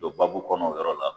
Don baabu kɔnɔ o yɔrɔ la